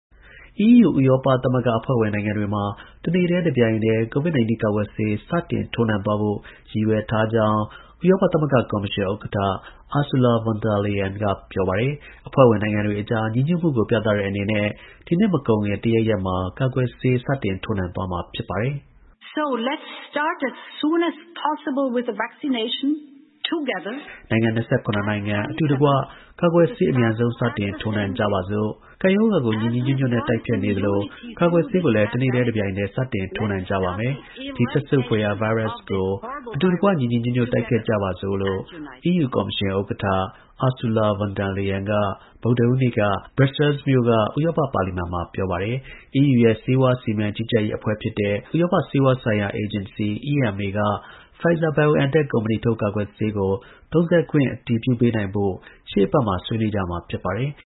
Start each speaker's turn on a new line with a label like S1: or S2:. S1: EUဥရောပသမဂ္ဂ အဖွဲ့ဝင်နိုင်ငံတွေမှာ တစ်နေ့တည်း တစ်ပြိုင်တည်းCOVID-19ကာကွယ်ဆေး စတင် ထိုးနှံသွားဖို့ ရည်ရွယ်ထားကြောင်း ဥရောပကော်မရှင်ဥက္ကဌ Ursula Von der Leyen က ပြောပါတယ်။ အဖွဲ့ဝင်နိုင်ငံတွေအကြား ညီညွတ်မှုကို ပြသတဲ့အနေနဲ့ ဒီနှစ်မကုန်ခင် တစ်ရက်ရက်မှာ ကာကွယ်ဆေး စတင် ထိုးနှံသွားမှာ ဖြစ်ပါတယ်။ "နိုင်ငံ ၂၇ နိုင်ငံ အတူတကွ ကာကွယ်ဆေး အမြန်ဆုံး စတင်ထိုးနှံကြပါစို့"။ "ကပ်ရောဂါကို ညီညီညွတ်ညွတ်နဲ့ တိုက်ဖျက်နေသလို ကာကွယ်ဆေးကိုလည်း တစ်နေ့တည်း တစ်ပြိုင်နက်တည်း စတင် ထိုးနှံကြပါမယ်"။ "ဒီစက်ဆုပ်ဖွယ်ရာ ဗိုင်းရပ်စ်ကို အတူတကွ ညီညီညွတ်ညွတ် တိုက်ဖျက်ကြပါစို့ " လို့ EUကော်မရှင် ဥက္ကဌ Ursula Von der Leyen က ဗုဒ္ဓဟူးနေ့က Brusselsမြို့က ဥရောပ ပါလီမန်မှာ ပြောပါတယ်။ EUရဲ့ ဆေးဝါးစီမံကြီးကြပ်ရေးအဖွဲ့ဖြစ်တဲ့ ဥရောပ ဆေးဝါးဆိုင်ရာ အေဂျင်စီ(EMA)ကPfizer/BioNTech ကုမ္ပဏီထုတ် ကာကွယ်ဆေးကို သုံးစွဲခွင့် အတည်ပြုပေးနိုင်ဖို့ရှေ့အပတ်မှာဆွေးနွေးကြမှာ ဖြစ်ပါတယ်။